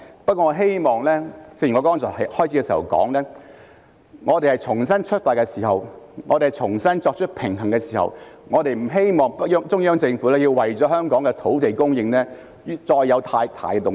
不過，正如我剛才在開始時提到，我們在重新出發、重新作出平衡的時候，我們不希望中央政府要為了香港的土地供應再有太大動作。